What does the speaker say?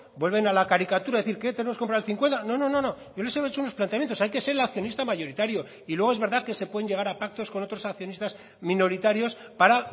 vuelven a la caricatura qué tenemos que comprar el cincuenta yo solo les he hecho unos planteamientos hay que ser el accionista mayoritario y luego es verdad que se pueden llegar a pactos con otros accionistas minoritarios para